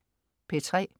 P3: